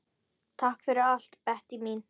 Takk fyrir allt, Bettý mín.